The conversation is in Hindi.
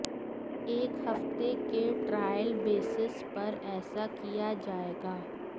एक हफ़्ते के ट्रायल बेसिस पर ऐसा किया जाएगा